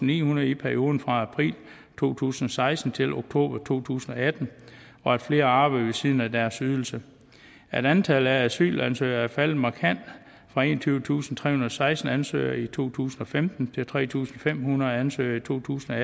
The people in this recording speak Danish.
nihundrede i perioden fra april to tusind og seksten til oktober to tusind og atten og at flere arbejder ved siden af deres ydelse at antallet af asylansøgere er faldet markant fra enogtyvetusinde og seksten ansøgere i to tusind og femten til tre tusind fem hundrede ansøgere i totusinde og